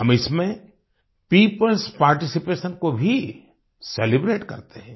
हम इसमें people's participation को भी सेलिब्रेट करते हैं